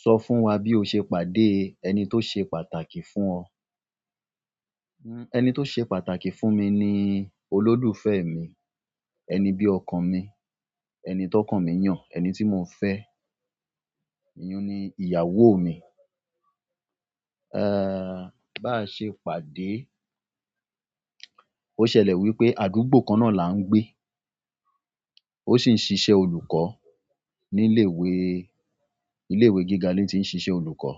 Sọ fún wa bí o ṣe pàdé ẹni tó ṣe pàtàkì fún ọ. Ẹni tó ṣe pàtàkì fún mi ni olólùfẹ́ mi, ẹni bí ọkàn mi, ẹni tí ọkàn mi yàn, ẹni tí mo n fẹ́, ìyún ni ìyàwó mi. E, bá ṣe pàdé ó ṣẹlẹ̀ wípé àdúgbò kan náà là ń gbé, ó sì ń ṣiṣẹ́ olùkọ́ ní ilé ìwé, ilé ìwé gíga ni tí ń ṣiṣẹ́ olùkọ́.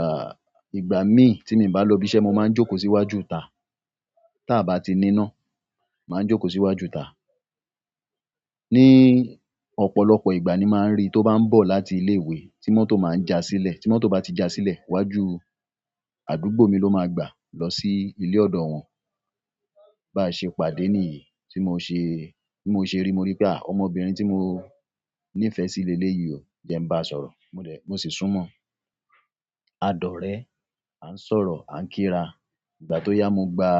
A, ìgbà mi, ti mi o ba lo si ibi iṣẹ́, mo maa n joko si iwájú ita, ta ba ti nina, maa n joko si iwájú ita. Ní ọ̀pọ̀lọpọ̀ ìgbà ni màá ń rí to bá ń bọ̀ láti ilé ìwé tí mọ́tò máa ń jà sílẹ̀, tí mọ́tò bá ti jà sílẹ̀ iwájú àdúgbò mi ló máa gba lọ sí ilé ọ̀dọ̀ wọn. Bá ṣe pàdé ní yìí, tí mo ṣe, bí mo ṣe rí mo rí pé a, ọmọbìnrin tí mo nífẹ́ sí léle yìí o, je ń bá a sọ̀rọ̀ mo dè, mo sì súnmọ́. A dọ̀rẹ́, à ń sọ̀rọ̀, à ń kí ra. Ìgbà tó yá mo gba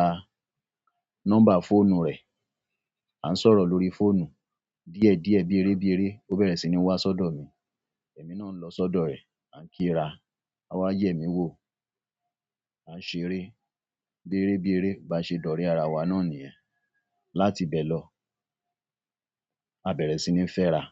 nọ́mbà fóònù rẹ̀, à ń sọ̀rọ̀ lórí fóònù. Díẹ̀ díẹ̀ bí eré bí eré ó bẹ̀rẹ̀ sí ní wá sọ́dọ̀ mi, èmi náà ń lọ sọ́dọ̀ rẹ̀, à ń kí ra. Awá yẹ̀mí wò, a ṣeré bí eré bí eré. Ba ṣe dọ́rẹ́ ara wa náà nìyẹn. Láti bẹ́ẹ̀ lọ, a bẹ̀rẹ̀ sí ní fẹ́ra.